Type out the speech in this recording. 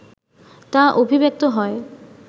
তা অভিব্যক্ত হয়